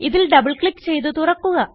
ഇതിൽ double click ചെയ്ത് തുറക്കുക